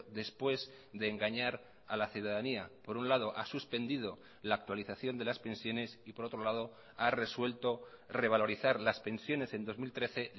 después de engañar a la ciudadanía por un lado ha suspendido la actualización de las pensiones y por otro lado ha resuelto revalorizar las pensiones en dos mil trece